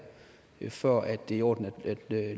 for at det er i orden at